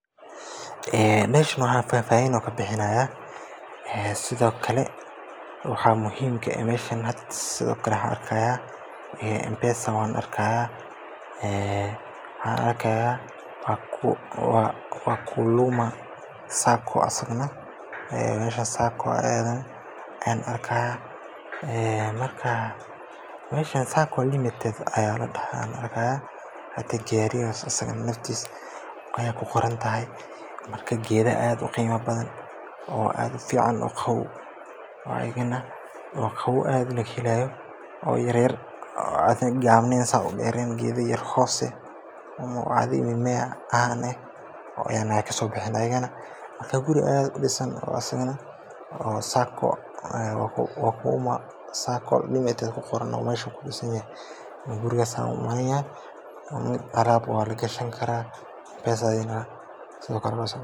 Ee dashmaha fafahin ayu kubixinaya ee sidhokale waxa muhimka ee meshan sidhokale waxan arki haya mpesa wan arkaya en waxan arkaya wa kuluma sacco asagana ee marka meshas saaco aadhayan arkaya ee marka meshan sacco limited ayaladaha hada gaarigan asaga naftisa aya kuqorantahay marka geedha aad u qima badhan oo ad ufican oo qabow oo ayagana qabow aad lagahelayo oo yaryar oo adhiga gabnidha sas u deeren gedha yaryar hoose ama mimea caaan eh oo ayagana kasobexen guri aad udisan oo asagana oo sacco limited kuqoran meshu kudisanayahay gurigas an umaleyanaya alaab wa lagishini kara mpesa iyadhana sidhokale